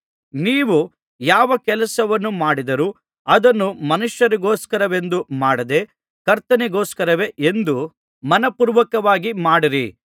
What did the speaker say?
ನೀವು ಯಾವ ಕೆಲಸವನ್ನು ಮಾಡಿದರೋ ಅದನ್ನು ಮನುಷ್ಯರಿಗೋಸ್ಕರವೆಂದು ಮಾಡದೇ ಕರ್ತನಿಗೋಸ್ಕರವೇ ಎಂದು ಮನಃಪೂರ್ವಕವಾಗಿ ಮಾಡಿರಿ